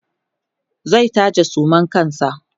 zai taje suman kansa